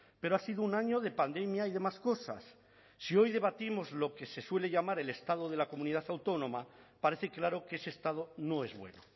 pero ha sido un año de pandemia y de más cosas si hoy debatimos lo que se suele llamar el estado de la comunidad autónoma parece claro que ese estado no es bueno